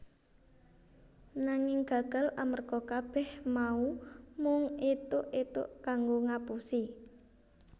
Nanging gagal amarga kabeh mau mung ethok ethok kanggo ngapusi